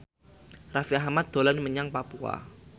Raffi Ahmad dolan menyang Papua